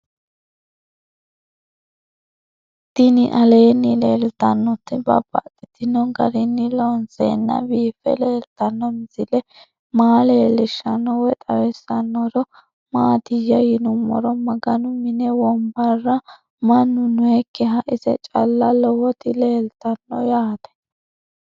Tinni aleenni leelittannotti babaxxittinno garinni loonseenna biiffe leelittanno misile maa leelishshanno woy xawisannori maattiya yinummoro maganu mine wonbarra mannu noyiikkiha ise calla lowotti leelittanno yaatte